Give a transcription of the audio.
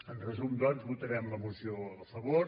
en resum doncs votarem la moció a favor